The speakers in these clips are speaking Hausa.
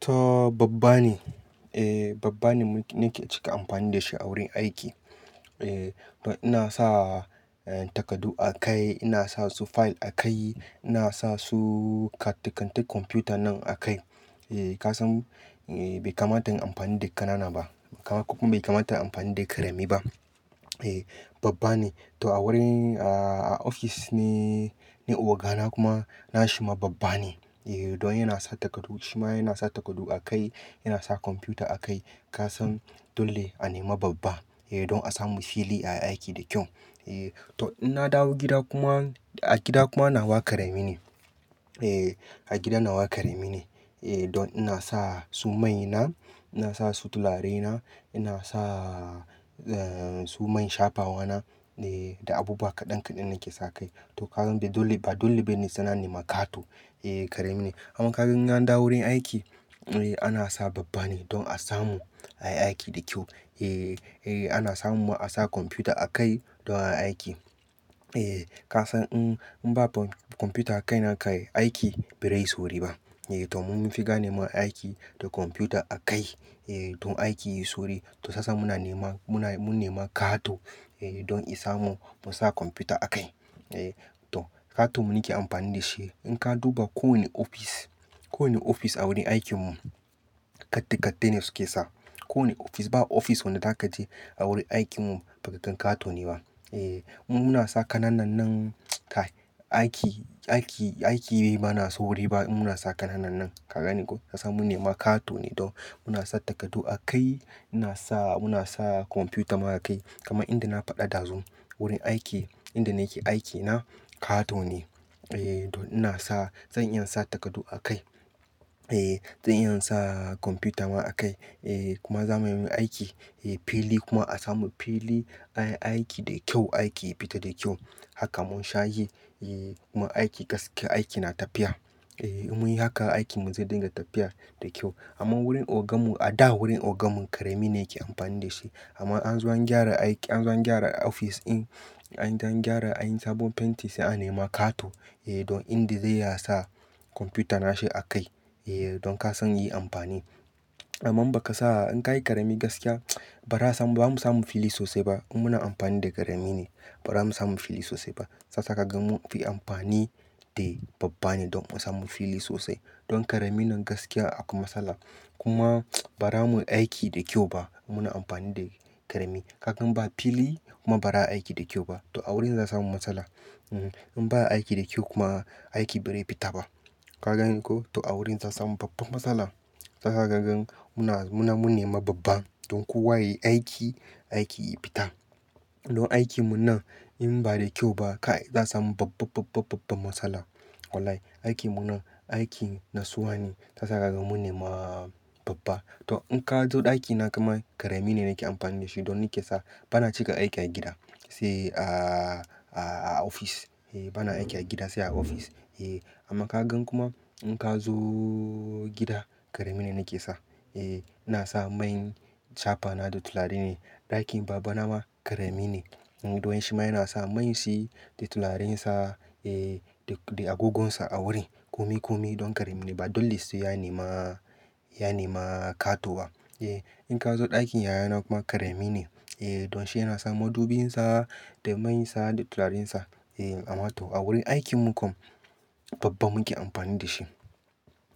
To babban ne, eh babban ne muke cika amfani da shi a wurin aiki. Eh, don ina sa takardu a kai, ina sa su file a kai, ina sa su katikatun kwamfuta nan a kai. Eh kasan, bai kamata in amfani da ƙanana ba kuma bai kamata in amfani da ƙarami ba. Eh babban ne, to a wurin ofis ne, na ogana kuma na shi ma babban ne. Eh don yana sa takardu, shi ma yana sa takardu a kai, yana sa kwamfuta a kai. Kasan dole a nema babban, eh don a samu fili a yi aiki da kyau. Eh to ina dawo gida kuma, a gida kuma na wa ƙarami ne. Eh a gida na wa ƙarami ne. Eh don ina sa su maina, ina sa su tularena, ina sa su man shafawa na, eh da abubuwa kaɗan kaɗan nake sa kai. To ka gan ba dole bane suna nema ƙato. Eh ƙarami ne. Amma ka gan in na dawo wurin aiki, eh ana sa babban ne don a samu a yi aiki da kyau. Eh, eh ana samu mu ana sa kwamfuta a kai don a aiki. Eh kasan i in ba kwamfuta a kaina kayi aiki bai rai sauri ba. Eh to mun fi ga nema aiki da kwamfuta a kai. Eh don aiki yayi sauri, to sai yasa muna nema, mun nema ƙato, eh don a samu mu sa kwamfuta a kai. Eh to ƙato muke amfani da shi. In ka duba kowane ofis, kowane ofis a wurin aikin mu, kattai kattai ne suke sa. Ko wane ofis, ba ofis wanda zaka je a wurin aikin mu, ba katon ƙato ne ba. Eh mu muna sa ƙananan nan aiki, aiki, aiki bai mana sauri ba in muna sa ƙananan nan. Kaga ni ko, ka san mun nema ƙato ne don muna sa takardu a kai, ina sa, muna sa kwamfuta ma a kai. Kama inda na faɗa dazun, wurin aiki, inda nake aikina ƙato ne. Eh don ina sa, zan iya sa takardu a kai. Eh zan iya sa kwamfuta ma a kai. Eh kuma zamuyi aiki, eh fili kuma a samu fili a yi aiki da kyau, aiki ya fita da kyau. Haka mun shayi, eh kuma aiki gaske aiki na tafiya. Eh munyi hakan, aikin mu zai dinga tafiya da kyau. Amma wurin ogan mu, a da wurin ogan mu ƙarami ne yake amfani da shi. Amma an zo an gyara aiki, an zo an gyara ofis ɗin, an gyara, an yi sabon fenti sai an nema ƙato. Eh don inda zai yasa kwamfuta nashi a kai. Eh don ka san yi amfani. Amma ba kasama in kayi ƙarami gaskiya, ba ra samu, ba mu samu fili sosai ba. In muna amfani da ƙarami ne, ba ra mu samu fili sosai ba. Sai yasa kaga mun fi amfani da babban ne don mu samu fili sosai. Don ƙarami nan gaskiya akwai matsala. Kuma bara mu aiki da kyau ba in muna amfani da ƙarami. Kagan ba fili kuma ba ra aiki da kyau ba. To a wurin za samu matsala. Ehn in ba aiki da kyau kuma, aiki bai rai fita ba. Kaga ni ko, to a wurin sa samu babbar matsala. Sai sa kagan muna, muna, mun nema babban don kowa yayi aiki, aiki yayi fita. Don aikin mu nan in ba da kyau ba, kai za'a samu babba, babba, babban matsala. Wallahi, aikin mu nan, aikin na tsuwa ne. Sasa kaga mun nema babban. To in ka zo ɗakina kuma ƙarami ne nake amfani da shi don nake sa, bana cika aiki a gida, sai a, a, a ofis. Eh bana aiki a gida sai a ofis. Eh amma ka gan kuma in ka zo gida ƙarami ne nake sa. Eh ina sa man shafawa na da tulare ne. Ɗakin babana ma ƙarami ne. Don shi ma yana sa man shi da tularen sa, eh da agogonsa a wurin. Kumi, kumi don ƙarami ne. Ba dole sai ya nema, ya nema ƙato ba. Eh in ka zo ɗakin yayana kuma ƙarami ne. Eh don shi yana sa madubin sa da man sa da tularen sa. Eh amma to a wurin aikin mu kam babban muke amfani da shi.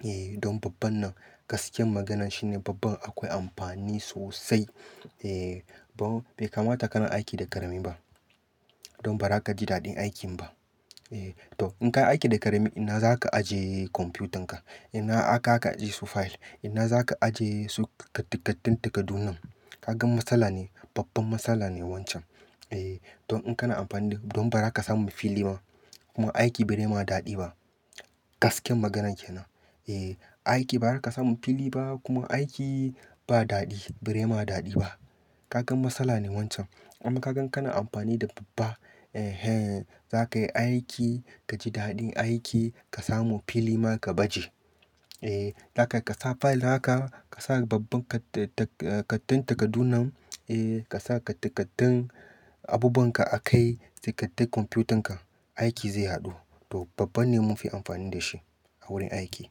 Eh don babban nan gaskiyar maganan shine babban akwai amfani sosai. Eh bai kamata kana aiki da ƙarami ba. Don ba ra ka ji daɗin aikin ba. Eh to in ka aiki da ƙarami, ina za ka ajiye kwamfutan ka? Ina aka ka ajiye su file? Ina za ka ajiye su katti kattin takardun nan? Kaga matsala ne, babbar matsala ne wancan. Eh don in kana amfani da, don ba ra ka samu fili ba kuma aiki bai nema daɗi ba. Gaskiyar maganan kenan. Eh aiki ba ra ka samu fili ba kuma aiki ba daɗi, bai nema daɗi ba. Kaga matsala ne wancan. Amma kaga kana amfani da babban, eh zaka yi aiki, kaji daɗin aiki, ka samu fili ma ka baje. Eh zaka ka sa file naka, ka sa babban katti kattin takardu nan, eh ka sa kattikattin abubuwan ka a kai, sai kattikattin kwamfutan ka, aiki zai haɗu. To babban ne mun fi amfani da shi a wurin aiki.